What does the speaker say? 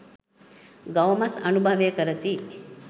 ගව මස් අනුභවය කරති.